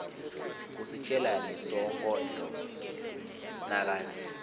kusitjelani sonkondlo nakatsi